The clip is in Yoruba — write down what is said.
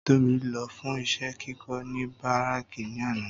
Tóbi lọ fún iṣẹ́ kíkó ní Bárákì ní àná